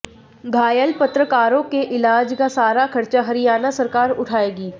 घायल पत्रकारों के इलाज का सारा खर्चा हरियाणा सरकार उठाएगी